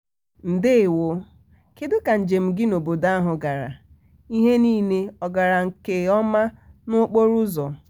ndewo! kedụ ka nje m gị n'obodo ahụ gara? ihe niile ọ gara nkeọma n'okporo ụzọ?